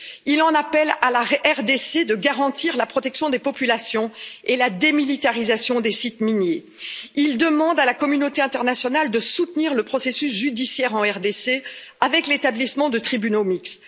Il en appelle à la RDC pour qu'elle garantisse la protection des populations et assure la démilitarisation des sites miniers. Il demande à la communauté internationale de soutenir le processus judiciaire en RDC avec l'établissement de tribunaux mixtes.